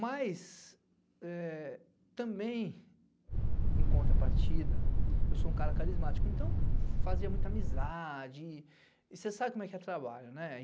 Mas também, em contrapartida, eu sou um cara carismático, então fazia muita amizade, e você sabe como é trabalho, né?